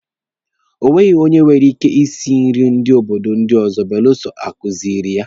E nweghi onye nwere ike isi nri ndị obodo ọzọ belụsọ a kuziiri ya.